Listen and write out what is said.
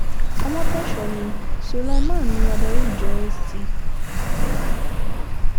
ọmọtọ́ṣọ́ ní sulaiman ní adarí ìjọ st